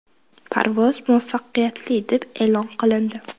Parvoz muvaffaqiyatli deb e’lon qilindi.